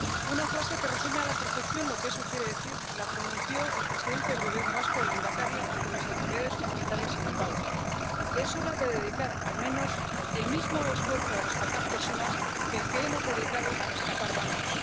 Una frase que resume a la perfección lo que eso quiere decir la pronunció el presidente del Gobierno vasco —el lehendakari— ante las autoridades comunitarias en Bilbao es hora de dedicar al menos el mismo esfuerzo a rescatar personas que el que hemos dedicado a rescatar bancos.